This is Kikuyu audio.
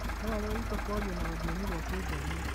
No areruta kwaria na rũthiomi rwa kĩnjaruo